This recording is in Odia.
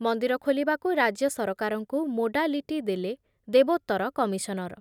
ମନ୍ଦିର ଖୋଲିବାକୁ ରାଜ୍ୟ ସରକାରଙ୍କୁ ମୋଡାଲିଟି ଦେଲେ ଦେବୋତ୍ତର କମିଶନର।